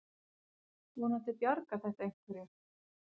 Vonandi bjargar þetta einhverju.